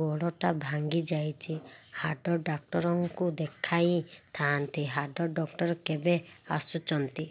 ଗୋଡ ଟା ଭାଙ୍ଗି ଯାଇଛି ହାଡ ଡକ୍ଟର ଙ୍କୁ ଦେଖାଇ ଥାଆନ୍ତି ହାଡ ଡକ୍ଟର କେବେ ଆସୁଛନ୍ତି